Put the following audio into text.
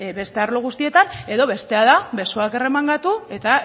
beste arlo guztietan edo bestea da besoak erremangatu eta